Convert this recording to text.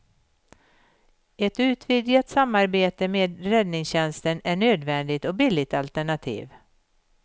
Ett utvidgat samarbete med räddningstjänsten är nödvändigt och billigt alternativ.